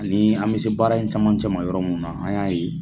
Ani an se baara in caman cɛ ma yɔrɔ min na an y'a ye